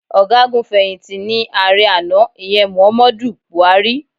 Ọ̀gágun fẹ̀yìntì ni ààrẹ àná, ìyẹn Muhammadu Buhari.